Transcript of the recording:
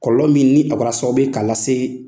Kɔlɔlɔ min ni o kɛra sababu ye k'a lase